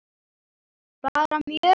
Bara mjög fínt.